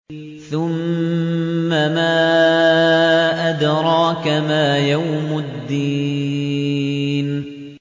ثُمَّ مَا أَدْرَاكَ مَا يَوْمُ الدِّينِ